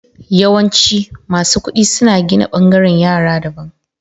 Yawanci, masu kudi suna gina bangaren yara daban.